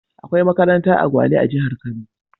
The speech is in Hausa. Akwai makaranta a Gwale a jihar Kano.